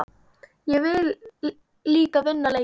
Ég vil líka vinna leiki.